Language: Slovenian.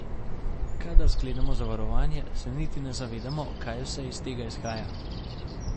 Kadar sklenemo zavarovanje, se niti ne zavedamo, kaj vse iz tega izhaja.